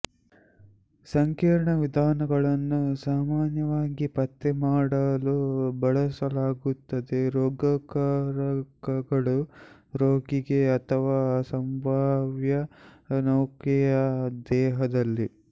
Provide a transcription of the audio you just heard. ಸಂಕೀರ್ಣ ವಿಧಾನಗಳನ್ನು ಸಾಮಾನ್ಯವಾಗಿ ಪತ್ತೆ ಮಾಡಲು ಬಳಸಲಾಗುತ್ತದೆ ರೋಗಕಾರಕಗಳು ರೋಗಿಗೆ ಅಥವಾ ಸಂಭಾವ್ಯ ನೌಕೆಯ ದೇಹದಲ್ಲಿ